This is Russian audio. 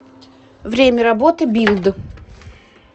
время работы билд